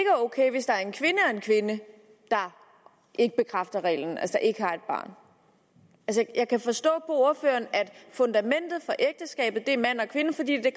kvinde der ikke bekræfter reglen altså ikke har et barn jeg kan forstå på ordføreren at fundamentet for ægteskabet er en mand og kvinde fordi det